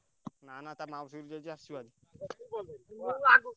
ନା ନା ଟା ମାଉସୀ ଘରକୁ ଯାଇଛି ଆସିବନି।